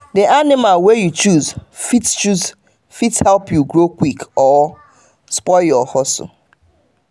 the animal wey you choose fit choose fit help you grow quick or spoil your hustle.